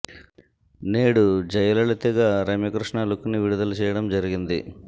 నేడు జయలలిత గా రమ్యకృష్ణ లుక్ ని విడుదల చేయడం జరిగింది